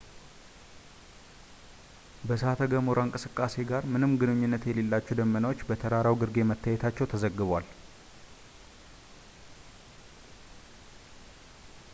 ከእሳተ-ገሞራ እንቅስቃሴ ጋር ምንም ግንኙነት የሌላቸው ደመናዎች በተራራው ግርጌ መታየታቸው ተዘግቧል